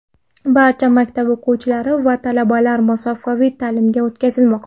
Barcha maktab o‘quvchilari va talabalar masofaviy ta’limga o‘tkazilmoqda.